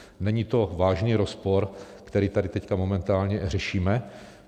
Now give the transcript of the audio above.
Není to vážný rozpor, který tady teď momentálně řešíme?